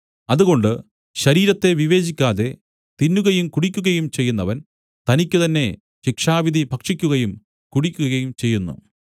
അതുകൊണ്ട് ശരീരത്തെ വിവേചിക്കാതെ തിന്നുകയും കുടിക്കുകയും ചെയ്യുന്നവൻ തനിക്കുതന്നെ ശിക്ഷാവിധി ഭക്ഷിക്കുകയും കുടിക്കുകയും ചെയ്യുന്നു